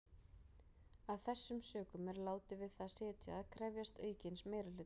Af þessum sökum er látið við það sitja að krefjast aukins meirihluta.